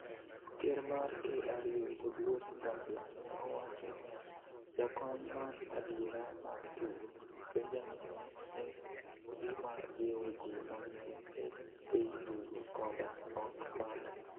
Ker mar KRU Oduor Gangla ne owacho niya: "Jakony mar adiera mar tugo, Benjamin ne en gima jiwo ji mang'eny, ei tugo koda oko mare".